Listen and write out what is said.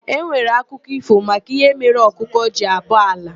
E nwere akụkọ ífò maka ihe mere ọkụkọ ji abọ ala.